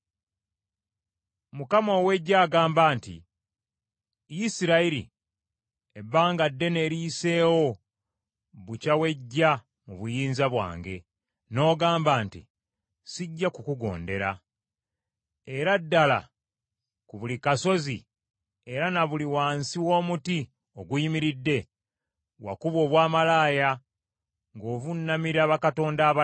Mukama ow’eggye agamba nti, “Isirayiri, ebbanga ddene eriyiseewo bukya weggya mu buyinza bwange, n’ogamba nti, ‘Sijja kukugondera.’ Era ddala, ku buli kasozi era na buli wansi w’omuti oguyimiridde wakuba obwamalaaya ng’ovuunamira bakatonda abalala.